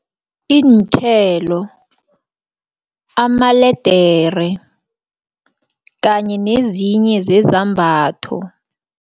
Iinthelo, amaledere kanye nezinye zezambatho.